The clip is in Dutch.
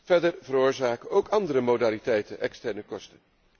Verder veroorzaken ook andere modaliteiten externe kosten.